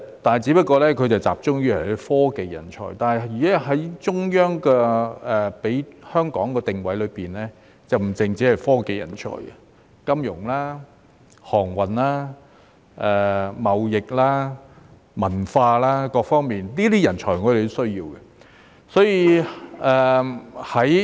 不過，他只是集中於科技人才，但中央給予香港的定位卻不只是科技人才，亦包括金融、航運、貿易、文化等方面，我們也需要這些人才。